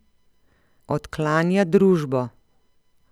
Odklanja družbo.